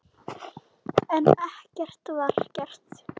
En ekkert var gert.